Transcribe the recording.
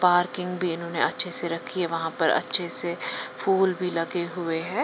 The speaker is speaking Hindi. पार्किंग भी इन्होंने अच्छे से रखी है वहां पर अच्छे से फूल भी लगे हुए हैं।